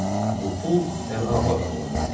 Bu pul Pənahabad adlanırdı.